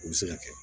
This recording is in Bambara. U bɛ se ka kɛ